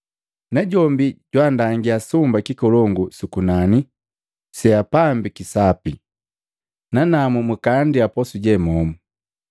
Najombi jwandangia sumba kikolongu sukunani, seapambiki sapi. Nanamu mkaandia posu je momu.”